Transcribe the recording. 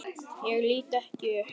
Ég lít ekki upp.